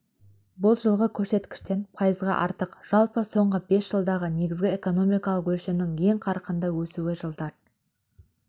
бұл жылғы көрсеткіштен пайызға артық жалпы соңғы бес жылдағы негізгі экономикалық өлшемнің ең қарқынды өсуі жылдар